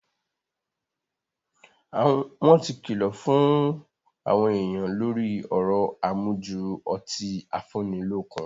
Wọ́n ti kìlọ̀ fún àwọn èèyàn lórí ọ̀rọ̀ àmujù ọtí afúnnilọ́kun